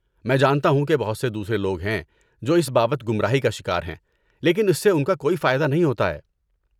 میں جانتا ہوں کہ بہت سے دوسرے لوگ ہیں جو اس بابت گمراہی کا شکار ہیں لیکن اس سے ان کا کوئی فائدہ نہیں ہوتا ہے۔